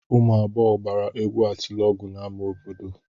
Ụmụ agbọghọ gbara egwu atịlọgụ n'ámá obodo.